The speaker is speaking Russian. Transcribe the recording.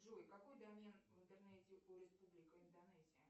джой какой домен в интернете у республика индонезия